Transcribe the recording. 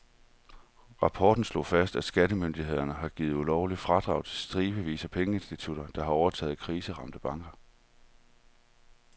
Rapporten slog fast, at skattemyndighederne har givet ulovlige fradrag til stribevis af pengeinstitutter, der har overtaget kriseramte banker.